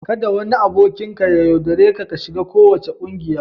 Kada wani aboki ya yaudare ka ka shiga kowace kungiya.